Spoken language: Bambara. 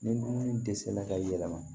Ni dumuni dɛsɛla ka yɛlɛma